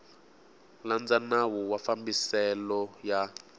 landza nawu wa mafambiselo ya